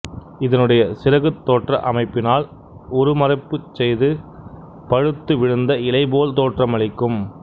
இதனுடைய சிறகுத் தோற்ற அமைப்பினால் உருமறைப்புச் செய்து பழுத்து விழுந்த இலை போல் தோற்றமளிக்கும்